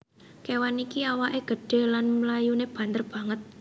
Kewan iki awaké gedhé lan mlayuné banter banget